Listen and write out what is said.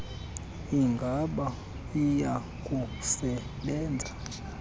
ingaba iya kusebenza